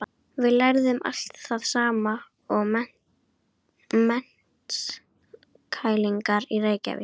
Við lærðum allt það sama og menntskælingar í Reykjavík.